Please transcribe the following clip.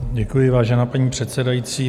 Děkuji, vážená paní předsedající.